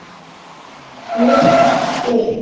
Mitt klikk?